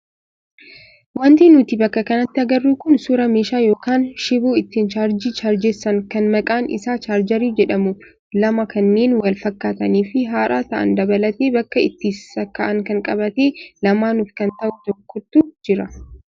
Wanti nuti bakka kanatti agarru kun suuraa meeshaa yookaan shiboo ittiin chaarjii chaarjessan kan maqaan isaa chaarjarii jedhamu lama kanneen wal fakkaatanii fi haaraa ta'an dabalatee bakka itti sakka'an kan qabate lamaanuuf kan ta'u tokkotu jira.